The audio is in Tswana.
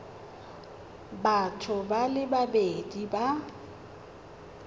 batho ba le babedi ba